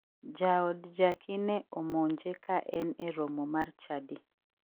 Jaod jacky ne omonje ka en e romo mar chadi.